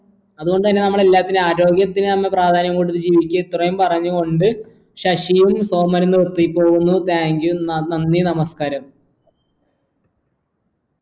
അത്കൊണ്ട് തന്നെ നമ്മളെല്ലാത്തിനും ആരോഗ്യത്തിന് നമ്മ പ്രാധാന്യം കൊടുത്തു ജീവിക്യ ഇത്രേം പറഞ്ഞു കൊണ്ട് ശശിയും സോമനും നിർത്തി പോകുന്നു thank you ന നന്ദി നമസ്കാരം